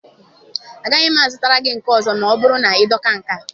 Agaghị m azụrụ gị nke ọzọ ma ọ bụrụ na ị dọka nke a